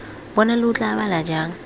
bona lo tla bala jang